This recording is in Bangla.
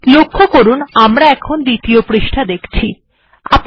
আমি এটি ই উল্লেখ করতে চাই যে আমরা এখন দ্বিতীয় পৃষ্ঠা টি দেখছি